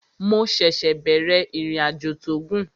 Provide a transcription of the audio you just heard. Mo ṣẹ̀ṣẹ̀ bẹ̀rẹ̀ ìrìnàjò tó gùn